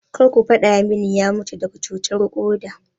Kar ba gaya mun ya mutu daga cutar koda?